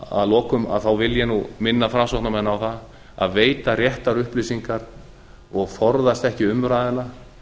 að lokum vil ég minna framsóknarmenn á það að veita réttar upplýsingar og forðast ekki umræðuna